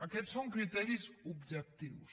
aquests són criteris objectius